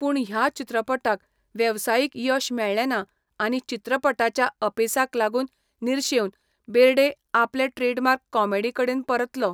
पूण, ह्या चित्रपटाक वेवसायीक यश मेळ्ळेंना आनी चित्रपटाच्या अपेसाक लागून निर्शेवन, बेर्डे आपले ट्रेडमार्क कॉमेडीकडेन परतलो.